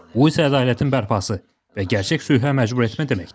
Bu isə ədalətin bərpası və gerçək sülhə məcbur etmə deməkdir.